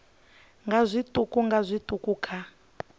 nga zwiṱuku nga zwiṱuku kha